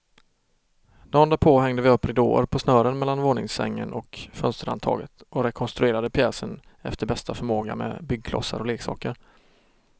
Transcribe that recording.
Dagen därpå hängde vi upp ridåer på snören mellan våningssängen och fönsterhandtaget och rekonstruerade pjäsen efter bästa förmåga med byggklossar och leksaker.